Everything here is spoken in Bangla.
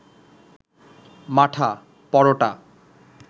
মাঠা, পরোটা